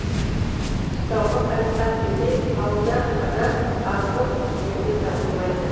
қыстауға қайтқан кедей ауылда қара азық емге табылмайды